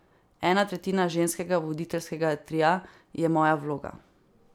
Ena tretjina ženskega voditeljskega tria je moja vloga.